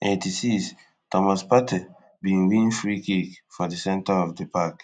eighty-sixthomas partey bin win freekick for di center of di park